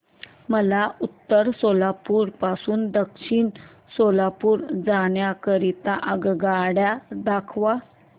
मला उत्तर सोलापूर पासून दक्षिण सोलापूर जाण्या करीता आगगाड्या दाखवा